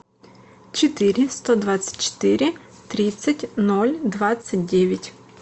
четыре сто двадцать четыре тридцать ноль двадцать девять